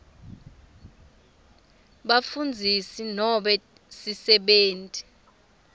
bafundzisi nobe sisebenti